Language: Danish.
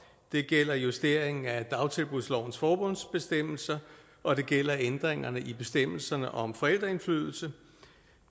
det gælder justeringen af dagtilbudslovens formålsbestemmelse og det gælder ændringerne i bestemmelserne om forældreindflydelse